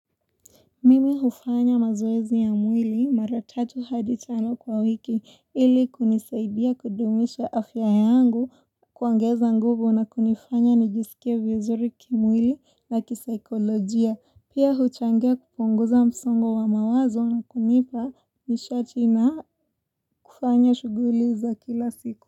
Mimi hufanya mazoezi ya mwili mara tatu hadi tano kwa wiki ili kunisaidia kudumisha afya yangu kuongeza nguvu na kunifanya nijisikie vizuri kimwili na kisaikolojia. Pia huchangia kupunguza msongo wa mawazo na kunipa nishati na kufanya shuguli za kila siku.